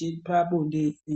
chepabonde ere.